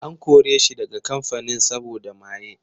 An kore shi daga kamfanin saboda maye.